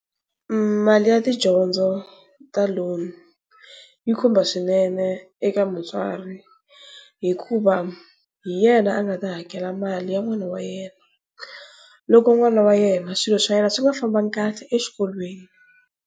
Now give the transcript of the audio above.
Mali ya tidyondzo ta loan yi khumba swinene eka mutswari, hikuva hi yena a nga ta hakela mali ya n'wana wa yena loko n'wana wa yena swilo swa yena swi nga fambangi kahle exikolweni.